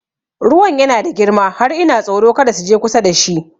Ruwan yana da girma har ina tsoro kada su je kusa da shi